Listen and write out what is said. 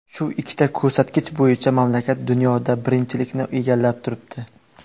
Shu ikkita ko‘rsatkich bo‘yicha mamlakat dunyoda birinchilikni egallab turibdi.